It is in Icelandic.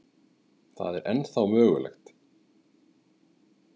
Það er ennþá mögulegt.